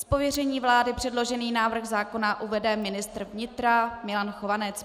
Z pověření vlády předložený návrh zákona uvede ministr vnitra Milan Chovanec.